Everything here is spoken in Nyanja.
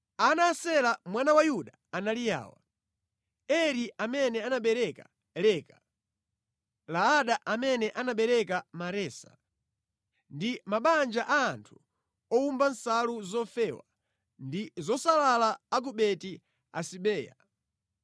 Ana a Sela mwana wa Yuda anali awa: Eri amene anabereka Leka, Laada amene anabereka Maresa ndi mabanja a anthu owomba nsalu zofewa ndi zosalala a ku Beti-Asibeya,